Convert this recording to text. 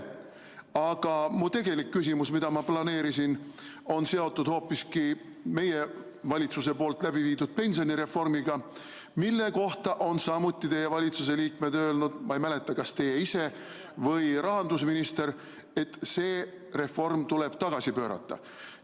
Aga minu tegelik küsimus, mida ma planeerisin, on seotud hoopiski meie valitsuse läbiviidud pensionireformiga, mille kohta on samuti teie valitsuse liikmed öelnud – ma ei mäleta, kas teie ise või rahandusminister –, et see reform tuleb tagasi pöörata.